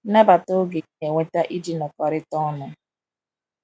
Nabata oge ị na-enweta iji nọkọrịta ọnụ.